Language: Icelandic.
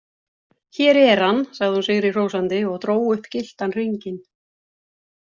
Hér er hann, sagði hún sigri hrósandi og dró upp gylltan hringinn.